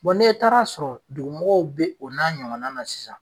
n'e taara sɔrɔ dugu mɔgɔw bɛ o n'a ɲɔgɔna na sisan.